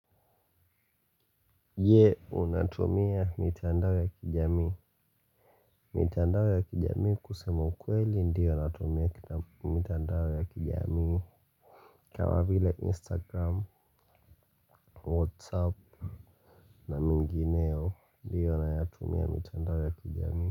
Ye unatumia mitandao ya kijami mitandao ya kijami kusema ukweli ndiyo natumia mitandao ya kijami kama vile instagram whatsapp na mengineo ndiyo nayatumia mitandao ya kijami.